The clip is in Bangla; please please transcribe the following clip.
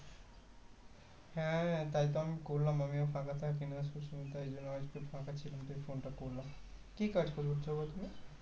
হ্যাঁ তাইতো আমি করলাম আমিও ফাঁকা থাকিনা সুস্মিতা এলো আজকে ফাঁকা ছিলাম তাই phone টা করলাম কি কাজ করো তুমি?